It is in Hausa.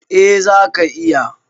Eh zaka iya.